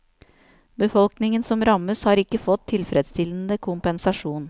Befolkningen som rammes, har ikke fått tilfredsstillende kompensasjon.